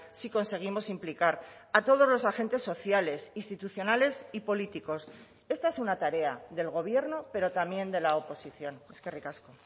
si conseguimos implicar a todos los agentes sociales institucionales y políticos esta es una tarea del gobierno pero también de la oposición eskerrik asko